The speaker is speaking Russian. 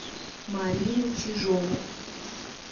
марину чижову